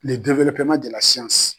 le dewelopeman de la siyansi